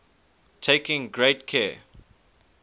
taking great care